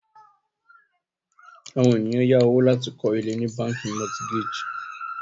àwọn ènìyàn yá owó láti kọ ile ni bánkì mortgage